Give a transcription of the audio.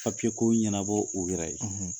ɲɛnabɔ u yɛrɛ ye.